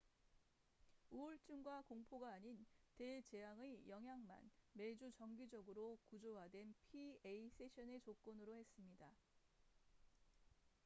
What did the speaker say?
우울증과 공포가 아닌 대재앙의 영향만 매주 정기적으로 구조화된 pa 세션의 조건으로 했습니다